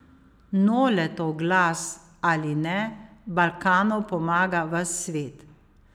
Noletov glas ali ne, Balkanu pomaga ves svet.